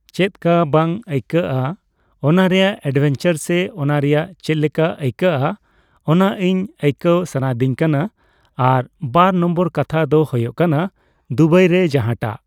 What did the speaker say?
ᱪᱮᱫ ᱠᱟ ᱵᱟᱝ ᱟᱹᱭᱠᱟᱹᱜᱼᱟ, ᱚᱱᱟ ᱨᱮᱭᱟᱜ ᱮᱰᱵᱷᱮᱧᱪᱟᱨ ᱥᱮ ᱚᱱᱟ ᱨᱮᱭᱟᱜ ᱪᱮᱫ ᱞᱮᱠᱟ ᱟᱹᱭᱠᱟᱹᱜᱼᱟ ᱚᱱᱟ ᱤᱧ ᱟᱹᱭᱠᱟᱹᱣ ᱥᱟᱱᱟᱭᱤᱫᱤᱧ ᱠᱟᱱᱟ ᱾ᱟᱨ ᱵᱟᱨ ᱱᱚᱢᱵᱚᱨ ᱠᱟᱛᱷᱟ ᱫᱚ ᱦᱳᱭᱳᱜ ᱠᱟᱱᱟ ᱫᱩᱵᱟᱭ ᱨᱮ ᱡᱟᱦᱟᱸᱴᱟᱜ